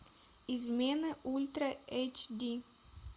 измены ультра эйч ди